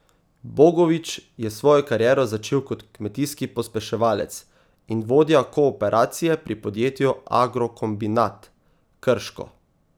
Bogovič je svojo kariero začel kot kmetijski pospeševalec in vodja kooperacije pri podjetju Agrokombinat Krško.